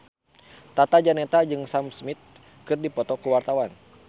Tata Janeta jeung Sam Smith keur dipoto ku wartawan